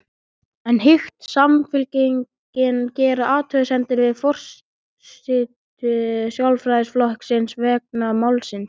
En hyggst Samfylkingin gera athugasemdir við forystu Sjálfstæðisflokksins vegna málsins?